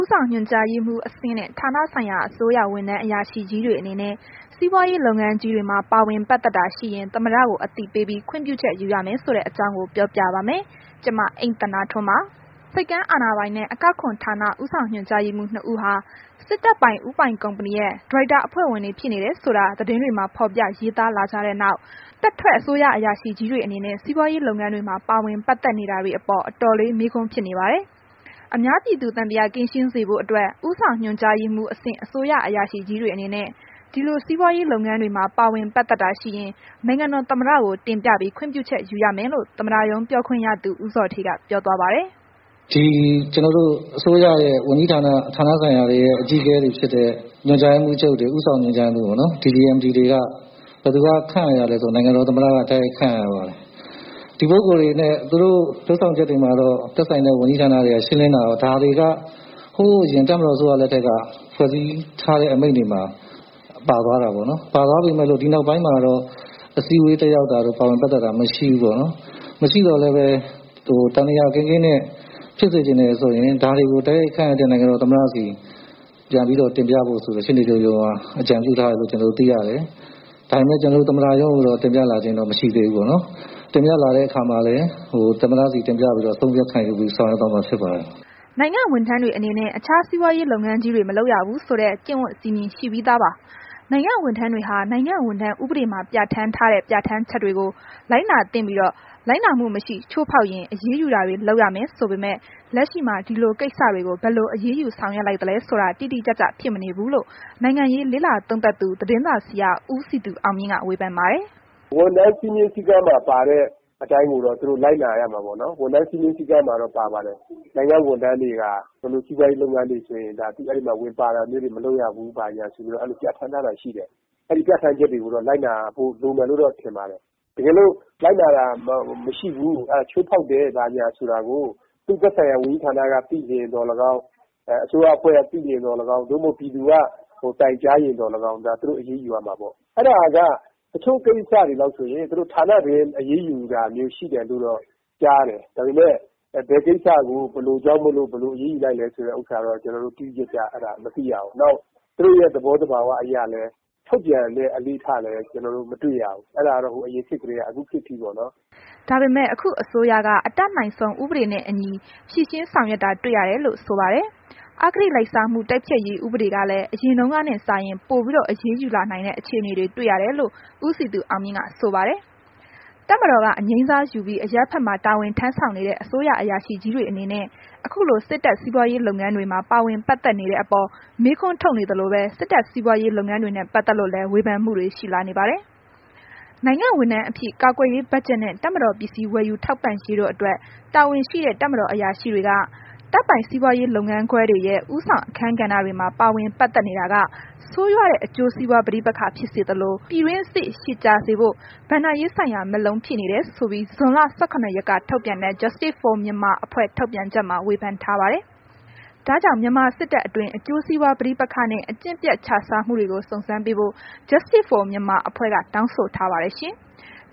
ဆောင်ညွှန်ကြားရေးမှူးအဆင့် ဌာနဆိုင်ရာအစိုးရဝန်ထမ်း အရာရှိကြီးတွေအနေနဲ့ စီးပွားရေးလုပ်ငန်းကြီးတွေမှာ ပါဝင်ပတ်သက်တာရှိရင် သမ္မတကို အသိပေးပြီး ခွင့်ပြုချက်ယူရမယ်ဆိုတဲ့ အကြောင်းကို ဗွီအိုအေမြန်မာပိုင်းသတင်းထောက် မအိမ့်သန္တာထွန်းက ပြောပြပါမယ်။ ဆိပ်ကမ်းအာဏာပိုင်နဲ့ အကောက်ခွန်ဌာန ဦေးဆာင်ညွှန်ကြားရေးမှူး နှစ်ဦးဟာ စစ်တပ်ပိုင် ဦးပိုင်ကုမဏီရဲ့ ဒါရိုက်တာအဖွဲ့ဝင်တွေ ဖြစ်နေတယ်ဆိုတာသတင်းတွေမှာ ဖော်ထုတ်ရေးသားလာကြတဲ့နောက် တပ်ထွက်အစိုးရ အရာရှိတွေအနေနဲ့ စီးပွားရေးလုပ်ငန်းတွေမှာ ပါဝင်ပတ်သက်နေတာတွေအပေါ် အတော်လေး မေးခွန်းဖြစ်နေပါတယ်။ အများပြည်သူ သံသယကင်းရှင်းစေဖို့အတွက် ဦးဆောင်ညွှန်ကြားရေးမှူးအဆင့် အစိုးရအရာရှိကြီးတွေအနေနဲ့ ဒီလို စီးပွားရေးလုပ်ငန်းတွေမှာ ပါဝင်ပတ်သက်တာရှိရင် နိုင်ငံတော်သမ္မတကို တင်ပြပြီး ခွင့်ပြုချက်ယူရမယ်လို့ သမ္မတရုံးပြောခွင့်ရသူ ဦးဇော်ဌေးက ပြောသွားပါတယ်။ “ဒီကျနော်တို့ အစိုးရရဲ့ ဝန်ကြီးဌာန၊ ဌာနဆိုင်ရာတွေရဲ့ အကြီးအကဲတွေဖြစ်တဲ့ ညွှန်ကြားရေးမှူးတွေ၊ ဦးဆောင်ညွှန်ကြားရေးမှူးတွေပေ့ါနော်.... သူတို့ကို ဘယ်သူက ခန့်အပ်ရလဲဆိုတော့ နိုင်ငံတော် သမ္မတက တိုက်ရိုက် ခန့်အပ်ရတာကိုး။ ဒီပုဂ္ဂိုလ်တွေနဲ့ သူတို့လုပ်ဆောင်ချက်တွေမှာတော့ သူတို့နဲ့ သက်ဆိုင်တဲ့ ဝန်ကြီးဌာနတွေက ရှင်းလင်းတာ။ ဒါတွေက ဟိုးအရင် တပ်မတော်အစိုးရလက်ထက်က ဖွဲ့စည်းထားတဲ့ ဥပဒေတွေမှာ ပါသွားတာပေါ့နှော်။ ပါသွားပေမဲ့လို့ ဒီနောက်ပိုင်းမှာတော့ အစည်းအဝေးတက်တာတို့ ပါဝင်ပတ်သက်တာတို့တော့ မရှိဘူးပေါ့နော်။ မရှိသော်လည်းဘဲ သံသယကင်းကင်းနဲ့ ဖြစ်စေချင်တယ်ဆိုရင် တာဝန်တွေကို တိုက်ရိုက်ခန့်အပ်တဲ့ နိုင်ငံတော်သမ္မတဆီ တိုက်ရိုက်တင်ပြဖို့ ရှေ့နေချုပ်ရုံးက အကြံပြုထားတယ်လို့တော့ ကျနော်တို့သိရတယ်။ ဒါပေမဲ့ ကျနော်တို့သမ္မတရုံးကိုတော့ တင်ပြလာခြင်းတော့ မရှိသေးဘူးပေါ့နော်။ တင်ပြလာတဲ့အခါမှာလည်း သမ္မတဆီတင်ပြပြီး အဆုံးအဖြတ်ခံယူဖို့ ဆောင်ရွက်သွားမှာ ဖြစ်ပါတယ်။” နိုင်ငံဝန်ထမ်းတွေအနေနဲ့ အခြားစီးပွားရေးလုပ်ငန်းကြီးတွေ မလုပ်ရဘူးဆိုတဲ့ ကျင့်ဝတ်စည်းမျဉ်းရှိပြီးသားပါ။ နိုင်ငံဝန်ထမ်းတွေဟာ နိုင်ငံဝန်ထမ်းဥပဒေမှာ ပြဌာန်းထားတဲ့ ပြဌာန်းချက်တွေကို လိုက်နာသင့်ပြီး လိုက်နာမှု မရှိ ချိုးဖောက်ရင် အရေးယူတာတွေ လုပ်ရမယ်ဆိုပေမဲ့ လက်ရှိမှာ ဒီလိုကိစ္စတွေကို ဘယ်လိုအရေးယူလိုက်သလဲဆိုတာ တိတိကျကျဖြစ်မနေဘူးလို့ နိုင်ငံရေးလေ့လာသုံးသပ်သူ သတင်းစာဆရာ ဦးစည်သူအောင်မြင့်က ဝေဖန်ပါတယ်။ “ဝန်ထမ်းစည်းမျဉ်း၊ စည်းကမ်းမှာပါတဲ့အတိုင်းကိုတော့ သူတို့လိုက်နာရမယ်ပေါ့နော်။ ဝန်ထမ်းစည်းမျဉ်းစည်းကမ်းမှာတော့ ပါပါတယ်။ နိုင်ငံဝန်ထမ်းတွေဟာ ဘယ်လိုစီးပွားရေးလုပ်ငန်းတွေမှာဆိုရင် ဝင်မပါရဘူး ဘာညာဆိုတာ ပြဌာန်းထားတာရှိတယ်။ အဲ့ဒီပြဌာန်းချက်တွေကိုတော့ လိုက်နာဖို့လိုမယ်လို့တော့ ကျနော်ထင်ပါတယ်။ တကယ်လို့ လိုက်နာတာမရှိဘူး၊ ချိုးဖောက်တယ်ဆိုတာကို သူ့သက်ဆိုင်ရာ ဌာနက သိရင်သော်လည်းကောင်း၊ အစိုးရအဖွဲ့က သိရင်သော်လည်းကောင်း သို့မဟုတ် ပြည်သူက တိုင်ကြားရင်သော်လည်းကောင်း ဒါသူတို့ အရေးယူရမှာပေါ့။ အဲ့ဒါက သူတို့အချို့ကိစ္စတွေဆိုရင် ဌာနတွင်း အရေးယူတာမျိုးရှိတယ်လို့ တော့ ကြားရတယ်။ ဒါပေမယ့် ဘယ်ကိစ္စကို ဘယ်လိုကြောင့်မို့လို့ ဘယ်လိုအရေးယူလိုက်တယ် ဆိုတာမျိုးတော့ ကျနော်တို့ တိတိကျကျ မသိရဘူး။ နောက် သူတို့ရဲ့ သဘောသဘာဝအရလည်း ထုတ်ပြန်တဲ့ အလေ့အထလည်း ကျနော်တို့ မတွေ့ရဘူး။ အဲ့ဒါက ဟိုအရင်ခေတ်ကတည်းက အခုခေတ်အထိပေါ့နော်။” ဒါပေမဲ့ ခုအစိုးရက အတတ်နိုင်ဆုံး ဥပဒေနဲ့ အညီဖြစ်အောင်ဖြေရှင်းနေတာတွေ့ရတယ်လို့ဆိုပါ တယ်။ အဂတိလိုက်စားမှု တိုက်ဖျက်ရေး ဥပဒေကလည်း အရင်တုန်းကနဲ့စာရင် ပိုပြီးတော့ အရေးယူလာနိုင်တဲ့ အခြေအနေတွေ တွေ့ရတယ်လို့ ဦးစည်သူအောင်မြင့်က ဆိုပါတယ်။ တပ်မတော်က အငြိမ်းစားယူပြီး အရပ်ဘက်မှာ တာဝန်ထမ်းဆောင်နေတဲ့ အစိုးရအရာရှိကြီးတွေအနေနဲ့ အခုလို စစ်တပ်စီးပွားရေးလုပ်ငန်းတွေမှာ ပါဝင်ပတ်သက်နေတဲ့အပေါ် မေးခွန်းထုတ်နေသလိုပဲ၊ စစ်တပ်စီးပွားရေးလုပ်ငန်းတွေနဲ့ ပတ်သက်လို့လည်း ဝေဖန်မှုတွေ ရှိလာနေပါတယ်။ နိုင်ငံ့ဝန်ထမ်းအဖြစ် ကာကွယ်ရေး ဘတ်ဂျက်နဲ့ တပ်မတော် ပစ္စည်းဝယ်ယူထောက်ပံ့ရေးတို့အတွက် တာဝန်ရှိတဲ့ တပ်မတော် အရာရှိတွေက တပ်ပိုင်စီးပွားရေးလုပ်ငန်းခွဲတွေရဲ့ဦးဆောင်အခန်းကဏ္ဍတွေမှာ ပါဝင်ပတ်သက်နေတာက ဆိုးရွားတဲ့ အကျိုးစီးပွား ပဋိပက္ခဖြစ်စေသလို၊ ပြည်တွင်းစစ် ရှည်ကြာစေဖို့ ဘဏ္ဍာရေးဆိုင်ရာ မက်လုံး ဖြစ်နေတယ်ဆိုပြီး ဇွန်လ ၁၇ ရက်က ထုန်ပြန်တဲ့ Justice for Myanmar အဖွဲ့ ထုတ်ပြန်ချက်မှာ ဝေဖန်ထားပါတယ်။ ဒါကြောင့် မြန်မာစစ်တပ်အတွင်း အကျိုးစီးပွားပဋိပက္ခနှင့် အကျင့်ပျက်ခြစားမှုတွေကို စုံစမ်းပေးဖို့ Justice For Myanmar အဖွဲ့က တောင်းဆိုထားပါတယ်ရှင်။